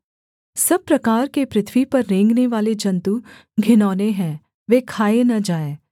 सब प्रकार के पृथ्वी पर रेंगनेवाले जन्तु घिनौने हैं वे खाए न जाएँ